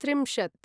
त्रिंशत्